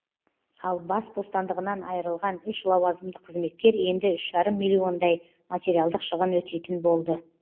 ал бас бостандығынан айырылған үш лауазымды қызметкер енді үш жарым миллион дай материалдық шығын өтейтін болды